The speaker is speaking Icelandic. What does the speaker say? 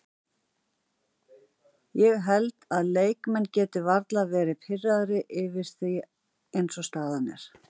Ég held að leikmenn geti varla verði pirraðir yfir því eins og staðan er.